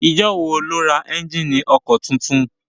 Ijọ́ wo lo ra ẹ́njíìnì ọkọ̀ titun?